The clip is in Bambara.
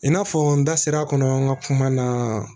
I n'a fɔ n da sera a kɔnɔ n ka kuma na